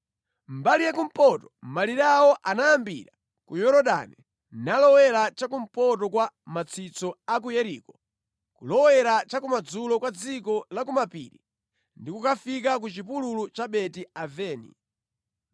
Mbali ya kumpoto malire awo anayambira ku Yorodani nalowera chakumpoto kwa matsitso a ku Yeriko kulowera cha kumadzulo kwa dziko la ku mapiri ndi kukafika ku chipululu cha Beti-Aveni.